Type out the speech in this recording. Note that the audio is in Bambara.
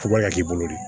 ya k'i bolo di